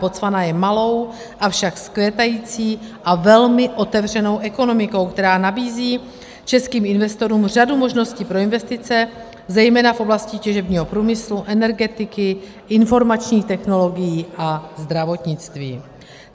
Botswana je malou, avšak vzkvétající a velmi otevřenou ekonomikou, která nabízí českým investorům řadu možností pro investice, zejména v oblasti těžebního průmyslu, energetiky, informačních technologií a zdravotnictví.